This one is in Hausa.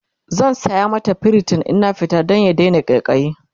zan saya mata priton in na fita Dan ta Daina ƙaiƙayi